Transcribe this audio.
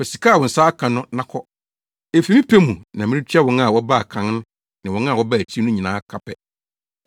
Fa sika a wo nsa aka no na kɔ. Efi me pɛ mu na meretua wɔn a wɔbaa kan ne wɔn a wɔbaa akyiri no nyinaa ka pɛ.